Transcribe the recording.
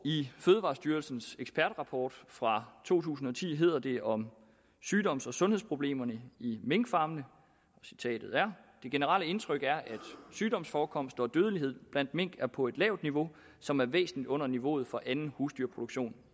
i fødevarestyrelsens ekspertrapport fra to tusind og ti hedder det om sygdoms og sundhedsproblemerne i minkfarmene det generelle indtryk er at sygdomsforekomst og dødelighed blandt mink er på et lavt niveau som er væsentligt under niveauet for anden husdyrproduktion